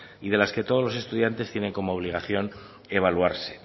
y de las que todos los estudiantes tienen como obligación evaluarse